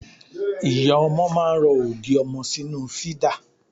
Ìyá ọmọ máa ń rọ ògì ọmọ sínú fídà.